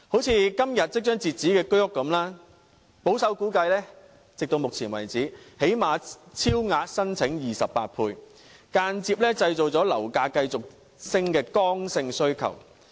正如今天即將截止申請的居屋般，保守估計，截至目前為止最少已超額申請28倍，間接製造樓價繼續上升的剛性需求。